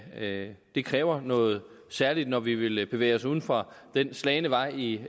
det kræver noget særligt når vi vil bevæge os uden for den slagne vej i